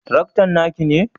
Taraktan naki ne?